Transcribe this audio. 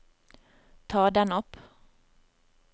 ta den opp